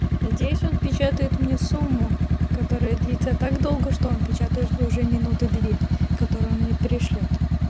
надеюсь он печатает мне сумму которая длится так долго что он печатает уже минуты две которые он мне пришлёт